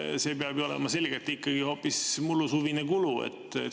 See peab ju olema selgelt ikkagi hoopis suvine kulu.